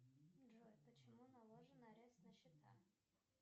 джой почему наложен арест на счета